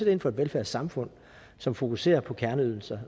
ind for et velfærdssamfund som fokuserer på kerneydelser